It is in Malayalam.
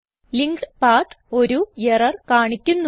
ലിങ്ക്ഡ് പത്ത് ഒരു എറർ കാണിക്കുന്നു